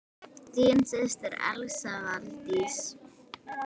Þín systir, Elsa Valdís.